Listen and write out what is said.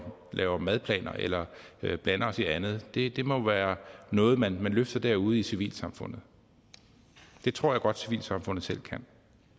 laver madplaner eller blander os i andet det det må være noget man løfter derude i civilsamfundet det tror jeg godt civilsamfundet selv kan